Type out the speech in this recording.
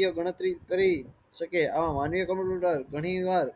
જે ગણતરી કરી સકે આવા કમ્પ્યુટર ગણી વાર